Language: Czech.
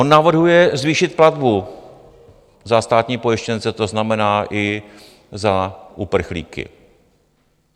On navrhuje zvýšit platbu za státní pojištěnce, to znamená i za uprchlíky.